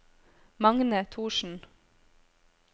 Magne Thorsen